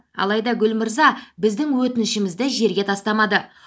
алайда гүл мырза біздің өтінішімізді жерге тастамады